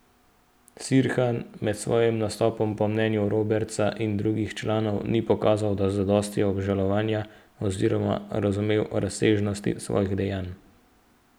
Sirhan med svojim nastopom po mnenju Robertsa in drugih članov ni pokazal zadosti obžalovanja oziroma razumel razsežnosti svojih dejanj.